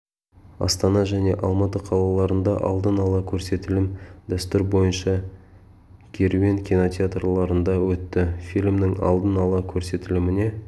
астана және алматы қалаларында алдын ала көрсетілім дәстүр бойынша керуен кинотеатрларында өтті фильмнің алдын ала көрсетіліміне